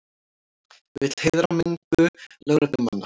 Vill heiðra minningu lögreglumanna